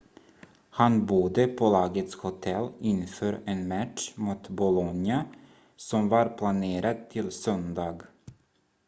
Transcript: han bodde på lagets hotell inför en match mot bolonia som var planerad till söndag